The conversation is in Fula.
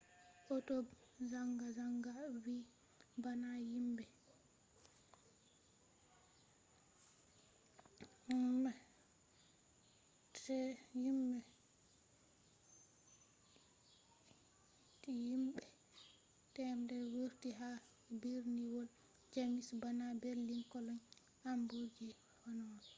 hautobe zanga-zanga vi bana himbe 100,000 vurti ha birniwol jamus bana berlin cologne hamburg be hannover